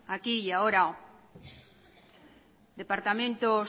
aquí y ahora departamentos